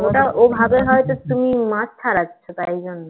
ওটা ওভাবে হয়তো তুমি মাছ ছাড়াচ্ছ তাই জন্য